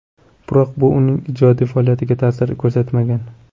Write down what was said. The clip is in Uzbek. Biroq bu uning ijodiy faoliyatiga ta’sir ko‘rsatmagan.